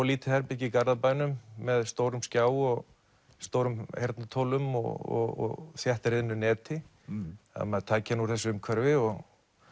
lítið herbergi í Garðabænum með stórum skjá og stórum heyrnartólum og þéttriðnu neti ef maður tæki hann úr þessu umhverfi og